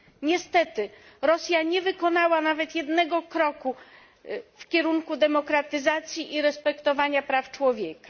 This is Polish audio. Niestety Rosja nie wykonała nawet jednego kroku w kierunku demokratyzacji i respektowania praw człowieka.